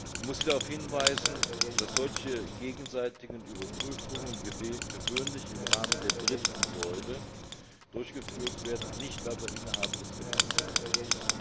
Ich muss Sie darauf hinweisen, dass solche gegenseitigen Überprüfungen gewöhnlich im Rahmen der dritten Säule durchgeführt werden, nicht aber innerhalb des Gemeinschaftsrechts.